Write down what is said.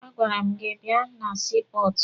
A gwara m gị bịa na sii pọọtụ!